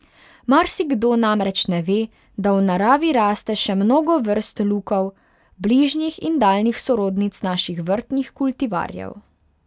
Marsikdo namreč ne ve, da v naravi raste še mnogo vrst lukov, bližnjih in daljnih sorodnic naših vrtnih kultivarjev.